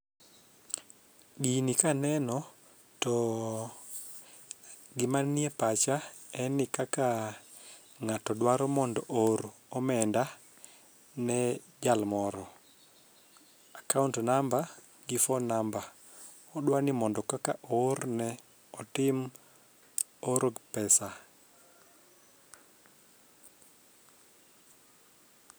Gini kaneno to gima nie pacha en ni kaka ng'ato dwaro mondo oor omenda ne jal moro. account namba gi phone namba odwani kaka mondo oorne otim oro pesa